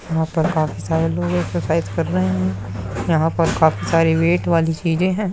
यहाँ पर काफी सारे लोग एक्सर्साइज़ कर रहे हैं। यहाँ पर काफी सारी वेट वाली चीज़े हैं।